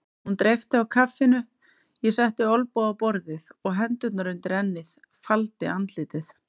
Hún dreypti á kaffinu, ég setti olnbogana á borðið og hendurnar undir ennið, faldi andlitið.